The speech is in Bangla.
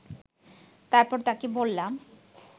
তারপর তাকে বললাম